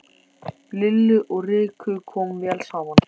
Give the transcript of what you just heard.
Lillu og Rikku kom vel saman.